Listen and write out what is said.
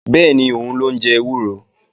Bẹ́ẹ̀ni, òun ló ń jẹ ewúro